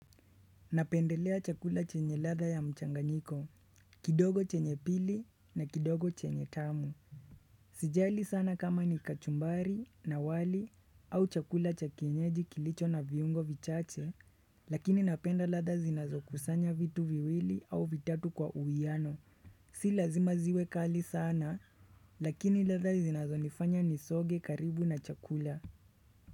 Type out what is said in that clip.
Napendelea chakula chenye ladha ya mchanganyiko, kidogo chenye pili na kidogo chenye tamu. Sijali sana kama ni kachumbari, na wali au chakula cha kienyeji kilicho na viungo vichache, lakini napenda ladha zinazo kusanya vitu viwili au vitatu kwa uwiano. Si lazima ziwe kali sana, lakini ladha zinazonifanya nisoge karibu na chakula.